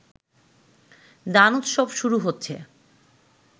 দানোৎসব শুরু হচ্ছে